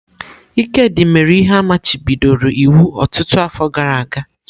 Ikedi mere ihe a machibidoro iwu ọtụtụ afọ gara aga.